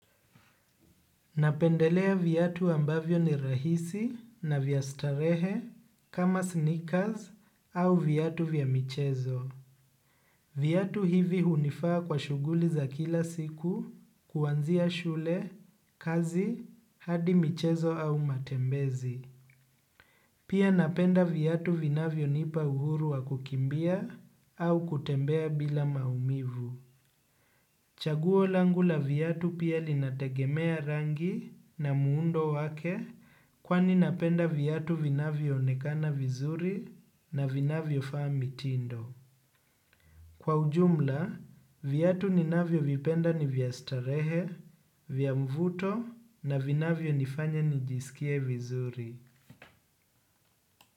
Napendelea viatu ambavyo ni rahisi na vya starehe kama sneakers au viatu vya michezo. Viatu hivi hunifaa kwa shughuli za kila siku kwanzia shule, kazi, hadi michezo au matembezi. Pia ninaprnda viatu vinavyonipa uhuru wa kukimbia au kutembea bila maumivu. Chaguo langu la viatu pia linategemea rangi na muundo wake kwani napenda viatu vinavyonekana vizuri na vinavyofaa mitindo. Kwa ujumla, viatu ninavyovipenda ni vya starehe, vya mvuto na vinavyonifanya nijisikie vizuri.